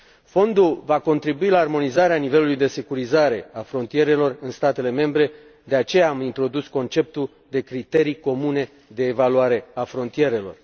Fondul va contribui la armonizarea nivelului de securizare a frontierelor în statele membre, de aceea am introdus conceptul de criterii comune de evaluare a frontierelor.